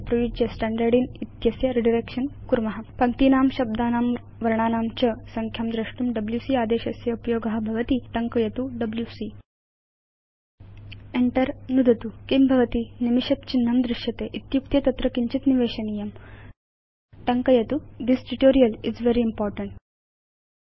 उपयुज्य स्टाण्डार्डिन् इति एतस्य रिडायरेक्शन कुर्म पश्याम कथमिति पङ्क्तीनां शब्दानां वर्णानां च संख्यां द्रष्टुं डब्ल्यूसी आदेशस्य उपयोग भवति इति वयं जानीम एव टङ्कयतु डब्ल्यूसी enter नुदतु किं भवति160 निमिषद् चिह्नं दृश्यते इत्युक्ते तत्र किञ्चित् निवेशनीयम् टङ्कयतु यथा this tutorial is very important